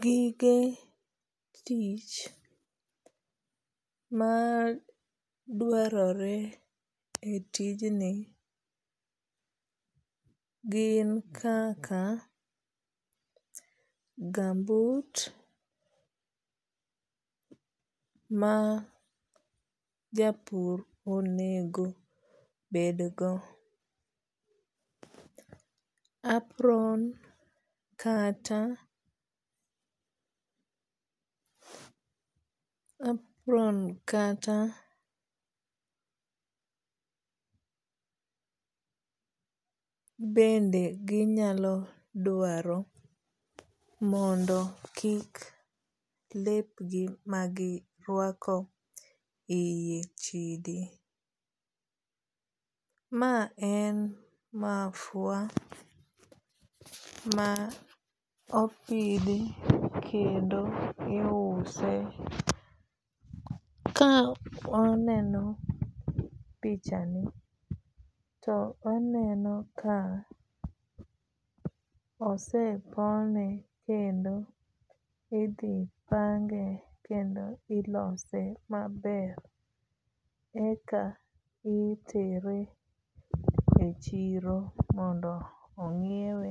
Gige tich ma dwarore e tijni gin kaka gumboot ma japur onego bed go. Apron kata apron kata bende ginyalo dwaro mondo kik lepgi magirwako iye chidi. Ma en mafua ma opidhi kendo iuse. Ka waneno pichani to waneno ka osepone kendo idhi pange kendo ilose maber eka itere e chiro mondo ong'iewe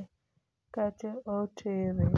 kata otere.